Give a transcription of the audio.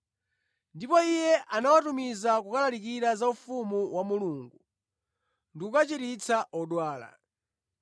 Ndipo Iye anawatumiza kukalalikira za ufumu wa Mulungu ndi kukachiritsa odwala.